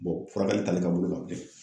furakɛli t'ale ka bolo kan bilen.